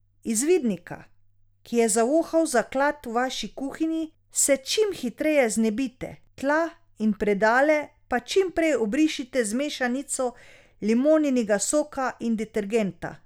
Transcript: Izvidnika, ki je zavohal zaklad v vaši kuhinji, se čim hitreje znebite, tla in predale pa čim prej obrišite z mešanico limoninega soka in detergenta.